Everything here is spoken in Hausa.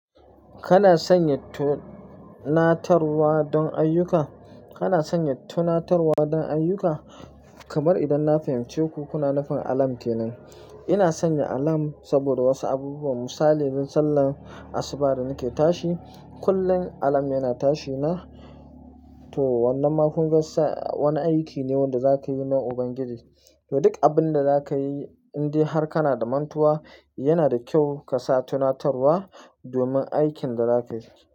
Kana sanya tunatarwa don ayyuka? Kana sanya tunatarwa don ayyuka? Kamar idan na fahimci ku, kuna nufin alarm kenan. Ina sanya alarm saboda wasu abubuwa. Misali, don sallan asuba da nake tashi, kullum alarm yana tashi na. To wannan ma kun ga sa, a wani aiki ne wanda za ka yi na Ubangiji. To duk abin da za ka yi, indai har kana da mantuwa, yana da kyau ka sa tunatarwa domin aikin da za ka yi.